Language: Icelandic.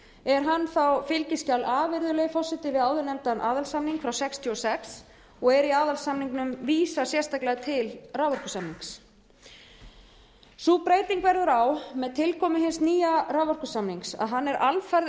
er hann þá fskj a virðulegi forseti við áðurnefndan aðalsamning frá nítján hundruð sextíu og sex og er í aðalsamningnum vísað sérstaklega til raforkusamningsins sú breyting verður á með tilkomu hins nýja raforkusamnings að hann er alfarið